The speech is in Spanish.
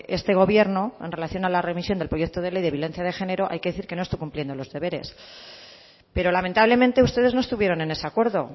este gobierno en relación a la remisión del proyecto de ley de violencia de género hay que decir que no estoy cumpliendo los deberes pero lamentablemente ustedes no estuvieron en ese acuerdo